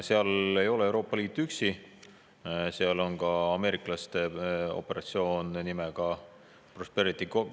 Seal ei ole Euroopa Liit üksi, seal toimub ka ameeriklaste operatsioon nimega Prosperity Guardian.